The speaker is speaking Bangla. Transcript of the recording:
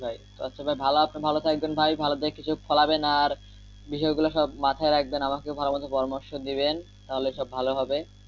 আচ্ছা ভাই ভালো আপনে ভালো থাকবেন ভাই ভালো দেখে কিছু ফলাবেন আর বিষয় গুলা সব মাথায় রাখবেন আমাকে ভালো মতো পরামর্শ দিবেন তাহলে সব ভালো হবে।